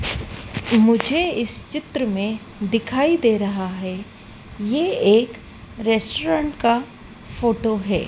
मुझे इस चित्र में दिखाई दे रहा है ये एक रेस्टोरेंट का फोटो है।